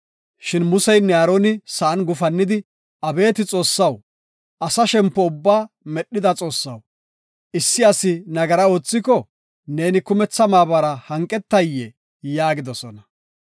Shin Museynne Aaroni sa7an gufannidi, “Abeeti Xoossaw, asa shempo ubbaa medhida Xoossaw, issi asi nagara oothiko, neeni kumetha maabara hanqetayee?” yaagidosona.